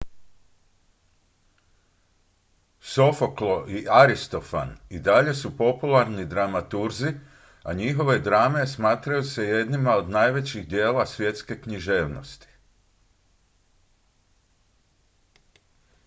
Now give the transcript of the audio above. sofoklo i aristofan i dalje su popularni dramaturzi a njihove drame smatraju se jednima od najvećih djela svjetske književnosti